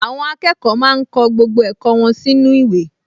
Àwọn akẹ́kọ̀ọ máa ń kọ gbogbo ẹ̀kọ́ wọn sínú ìwé